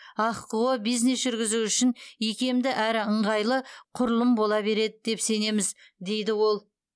ахқо бизнес жүргізу үшін икемді әрі ыңғайлы құрылым бола береді деп сенеміз дейді ол